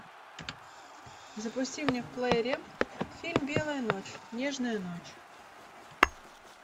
запусти мне в плеере фильм белая ночь нежная ночь